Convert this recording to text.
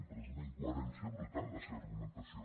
però és una incoherència brutal la seva argumentació